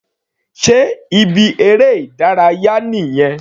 Sé ibi eré ìdárayá nìyẹn?